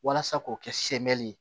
Walasa k'o kɛ semɛi ye